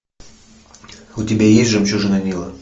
у тебя есть жемчужина нила